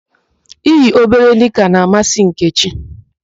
I yi obere nịka na-amasị Nkechi.